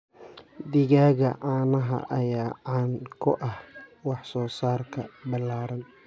Digaagga caanaha ayaa caan ku ah wax soo saarka ballaaran.